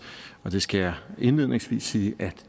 og det skal jeg indledningsvis sige at